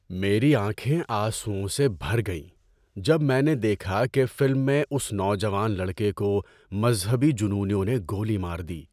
میری آنکھیں آنسوؤں سے بھر گئیں جب میں نے دیکھا کہ فلم میں اس نوجوان لڑکے کو مذہبی جنونیوں نے گولی مار دی۔